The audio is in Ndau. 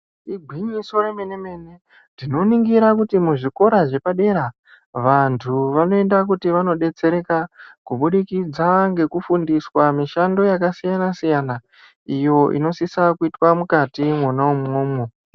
Igwinyiso remenemene tinoningira kuti muzvikora zvepadera vantu vanoenda kuti vanodetsereka kubudikidza ngekufundiswa mishando yakasiyanasiyana iyo inosisa kuitwa mukati mwona umwomwo.